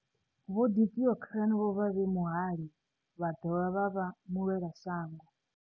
Vho Deokaran vho vha vhe muhali vha dovha vha vha mulwelashango.